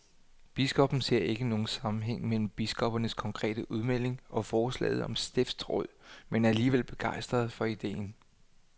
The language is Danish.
Biskoppen ser ikke nogen sammenhæng mellem biskoppernes konkrete udmelding og forslaget om stiftsråd, men er alligevel begejstret for ideen.